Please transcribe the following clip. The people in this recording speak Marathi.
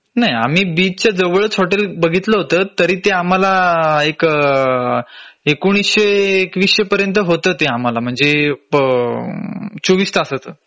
नाही आम्ही बीच च्या जवळच हॉटेल बघितलं होत तरी ते आम्हाला एक एकोणीशे एकवीसशे पर्यंत होत ते आम्हाला म्हणजे चोवीस तासाचं